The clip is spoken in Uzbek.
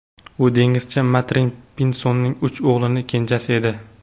U dengizchi Martin Pinsonning uch o‘g‘lining kenjasi edi.